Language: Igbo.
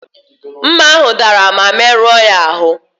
Mma ahụ dara ma merụọ ya ahụ.